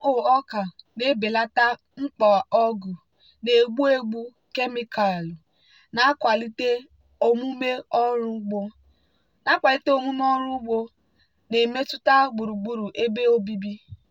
gmo ọka na-ebelata mkpa ọgwụ na-egbu egbu kemịkalụ na-akwalite omume ọrụ ugbo na-emetụta gburugburu ebe obibi.